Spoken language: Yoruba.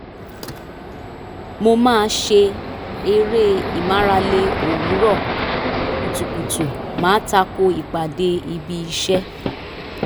mo máa ṣe eré ìmárale òwúrọ̀ kùtùkùtù má tako ìpàdé ibi iṣẹ́